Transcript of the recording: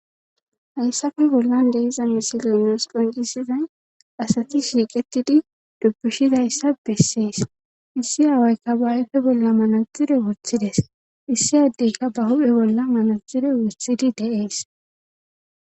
Hayssafe bollan deiza misilenas qoncisizay asati shiiqetidi dubbishidayssa bessees issi aawayka baayfe bolla manazire wothides issi addeyka ba hu'e bolla manaxire wothidi deees.